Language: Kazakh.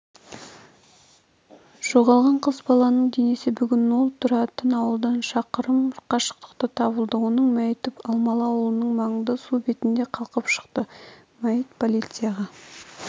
жоғалған қыз баланың денесі бүгін ол тұратын ауылдан шақырым қашықтықта табылды оның мәйіті алмалы ауылының маңында су бетіне қалқып шықты мәйіт полицияға